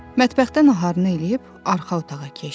Mətbəxdən naharını eləyib arxa otağa keçdi.